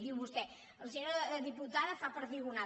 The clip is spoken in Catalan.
diu vostè la senyora diputada fa perdigonada